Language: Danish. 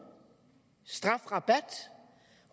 strafrabat